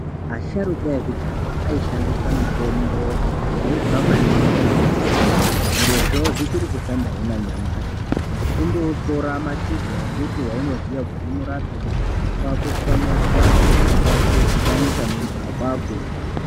Asharuka ekudhaya ayishandisa mitombo yaibva maningi kumbuti, zvirozvo zvichiri kushandahe nanyamashi, kundotora mashizha embuti waunoziya kuti unorapeyi, kwakutswanya-tswanya kwakutodhibanisa nemvura kwakumwa.